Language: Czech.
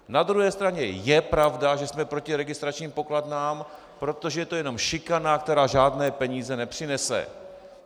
Na druhé straně je pravda, že jsme proti registračním pokladnám, protože to je jenom šikana, která žádné peníze nepřinese.